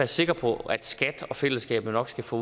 sikker på at skat og fællesskabet nok skal få